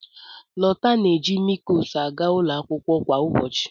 Lọta na-eji mịlkoos aga ụlọ akwụkwọ kwa ụbọchị.